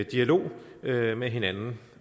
dialog dialog med hinanden